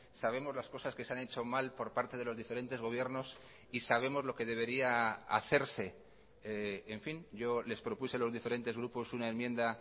sabemos las cosas que se han hecho mal por parte de los diferentes gobiernos y sabemos lo que debería hacerse en fin yo les propuse a los diferentes grupos una enmienda